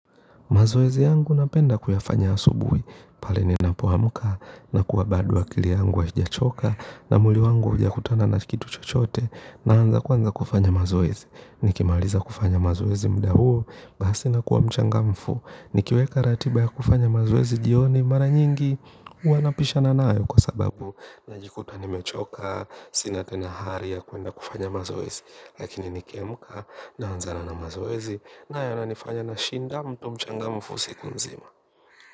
Mazoezi yangu napenda kuyafanya asubuhi, pale ninapoamka, na kuwa bado akili yangu haijachoka, na mwili wangu haujakutana na kitu chochote, naanza kuanza kufanya mazoezi. Nikimaliza kufanya mazoezi muda huo, basi nakuwa mchangamfu, nikiweka ratiba ya kufanya mazoezi jioni mara nyingi, huwa napishana nayo kwa sababu najikuta nimechoka, sina tena hari ya kuenda kufanya mazoezi. Lakini nikiamka naanzana na mazoezi na yananifanya nashinda mtu mchangamfu siku nzima.